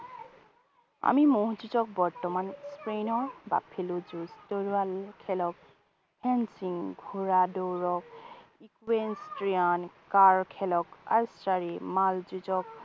আমি মহ যুজঁক বৰ্তমান spain ৰ buffalo যুঁজ, তৰোৱাল খেলক hand swing ঘোঁৰা দৌৰক equine strain কাঁড় খেলক archery মাল যুঁজক